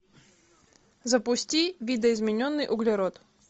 запусти видоизмененный углерод